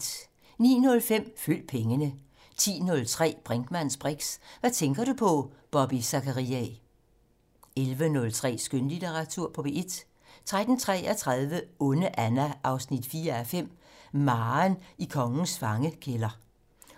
09:05: Følg pengene 10:03: Brinkmanns briks: Hvad tænker du på? Bobby Zachariae 11:03: Skønlitteratur på P1 13:33: Onde Anna 4:5 - Maren i kongens fangekælder